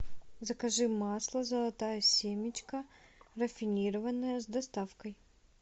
закажи масло золотая семечка рафинированное с доставкой